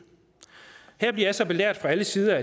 her bliver jeg så belært fra alle sider